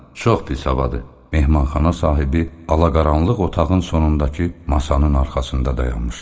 Çox pis havada mehmanxana sahibi ala-qaranlıq otağın sonundakı masanın arxasında dayanmışdı.